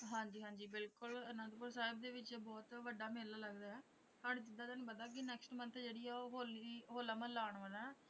ਹਾਂਜੀ ਹਾਂਜੀ ਬਿਲਕੁਲ ਅਨੰਦਪੁਰ ਸਾਹਿਬ ਦੇ ਵਿੱਚ ਬਹੁਤ ਵੱਡਾ ਮੇਲਾ ਲੱਗਦਾ ਹੈ ਹੁਣ ਜਿੱਦਾਂ ਤੁਹਾਨੂੰ ਪਤਾ ਕਿ ਨੈਕਸਟ ਮੰਥ ਜਿਹੜੀ ਆ ਉਹ ਹੋਲੀ ਹੋਲਾ ਮਹੱਲਾ ਆਉਣ ਵਾਲਾ ਹੈ।